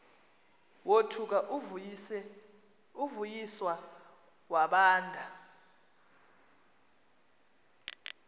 wothuka uvuyiswa wabanda